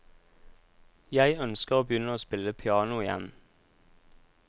Jeg ønsker å begynne å spille piano igjen.